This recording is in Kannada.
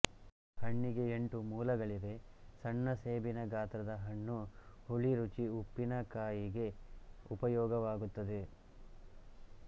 ಹಣ್ಣಿಗೆ ಎಂಟು ಮೂಲಗಳಿವೆಸಣ್ಣ ಸೇಬಿನ ಗಾತ್ರದ ಹಣ್ಣು ಹುಳಿರುಚಿ ಉಪ್ಪಿನಕಾಯಿಗೆ ಉಪಯೋಗವಾಗುತ್ತದೆ